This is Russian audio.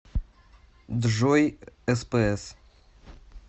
джой спс